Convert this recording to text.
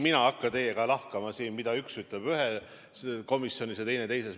Mina ei hakka teiega siin lahkama, mida üks ütleb ühes komisjonis ja teine teises.